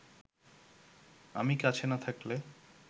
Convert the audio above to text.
আমি কাছে না থাকলে